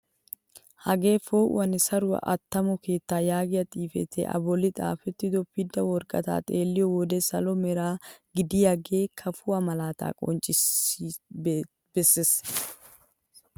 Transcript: Hagee po'uwaanne saruwaa attamo keettaa yaagiyaa xifatee a bolli xaafettido pidda woraqataa xeelliyoo wode salo mera gididagee kafuwaa malaataa qonccisi bessees!